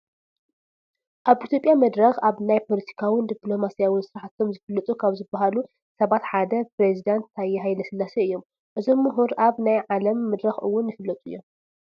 ኣብ ኢትዮጵያ መድረኽ ኣብ ናይ ፓለቲካውን ዲኘሎማስያውን ስራሕቶም ዝፍለጡ ካብ ዝባሃሉ ሰባት ሓደ ኘሬዚዳንት ታየ ሃ/ስላሴ እዮም፡፡ እዞም ሙሁር ኣብ ናይ ዓለም መድረኽ ውን ይፍለጡ እዮም፡፡